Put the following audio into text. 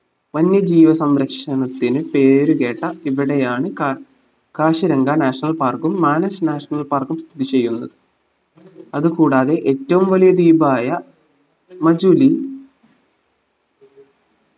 വന്യ ജീവിസംരക്ഷണത്തിന് പേരു കേട്ട ഇവിടെയാണ് കാ കാശിരങ്ക national park ഉം മാനസ് national park ഉം സ്ഥിതി ചെയ്യുന്നത് അതുകൂടാതെ ഏറ്റവും വലിയ ദീപായ മജുലി